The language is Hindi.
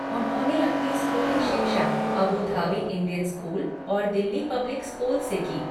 उन्होंने अपनी स्कूली शिक्षा अबू धाबी इंडियन स्कूल और दिल्ली पब्लिक स्कूल से की।